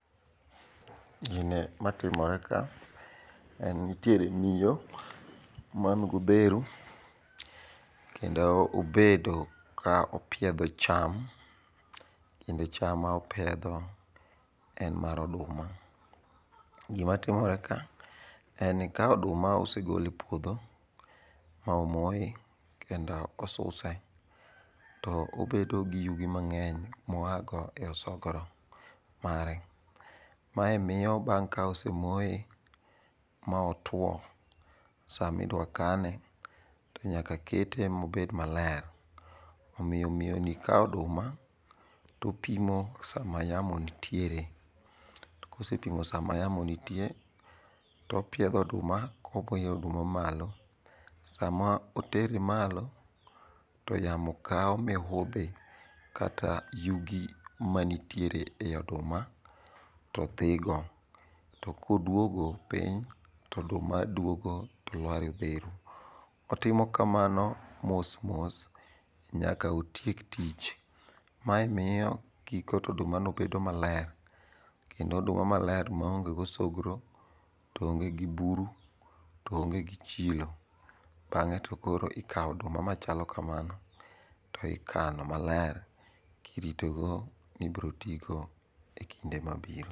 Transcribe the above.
Gine matimoreka, en ni nitiere miyo man godheru kendo obedo ka opiedho cham kendo cham ma opiedho en mar oduma. Gima timoreka en ni ka oduma osegol e puodho ma omoye kendo osuse to obedo gi yugi mang'eny ma oago e osogro mare. Mae miyo bang' ka osemoye ma otwo samidwa kane to nyaka keto mobed maler omiyo miyoni kawo oduma topimo sama yamo nitiere, to kosepimo sama yamo nitie topiedho oduma kowiro oduma malo. Sama otere malo, to yamo kawo mihudhi kata yugi manitiere e oduma to dhigo to koduogo piny to oduma duogo tolwar e odheru. Otimo kamano mos mos nyaka otiek tich. Mae miyo kiketo odumano bedo maler kendo oduma maler maonge gosogro to onge gi buru to onge gi chilo. Bang'e to koro ikawo oduma machalo kamano to ikano maler kiritogo ni ibrotigo e kinde mabiro.